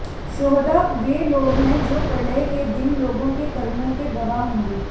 शोहदा वे लोग हैं जो प्रलय के दिन लोगों के कर्मों के गवाह होंगे